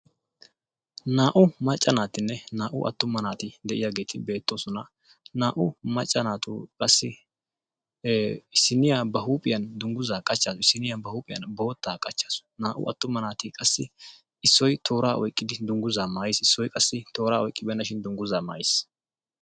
Naa''u macca naatinne naa''u attuma naati de'iyaageeti beettoosona. naa''u macca naatu qassi issiniya ba huuphiyaa dungguza qachchawus issiniya ba huuphiyaan bootta qachchawus, naa''u attuma naati qassi issoy toora oyqqidi dungguza maayiis, issoy qassi toora oyqqibeenashin dungguza maayiis.